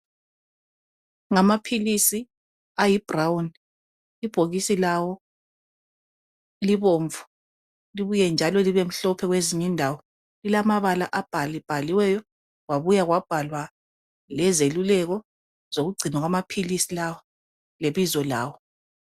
Ngamaphilisi ayi brown. Ibhokisi lawo libomvu libuye njalo libe mhlophe kwezinye indawo. Lilamabala abhalibhaliweyo , kwabuya kwabhalwa lezeluleko zokugcinwa kwamaphilisi lawo, lebizo lawo.